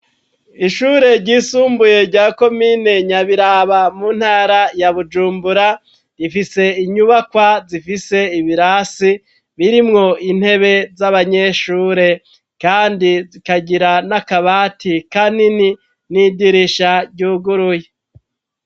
Ishure ryisumbuye rya komine Nyabiraba mu ntara ya Bujumbura, rifise inyubakwa zifise ibirasi birimwo intebe z'abanyeshure, kandi zikagira n'akabati kanini n'idirisha ryuguruye.